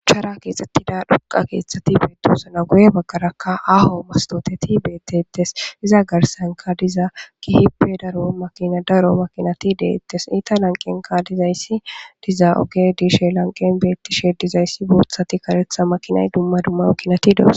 Shuchara kexetida dhoqa kethati betosona guye bagara ha aho mastoti betetes izza garsanka diza kehippe daro makinati daro makinati deyetes eta lanqenka dizaysi diza ogey dishes lanqen betishe dizaysi bothati karetha makinati de'osona.